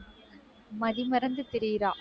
மதி மறந்து திரியறா.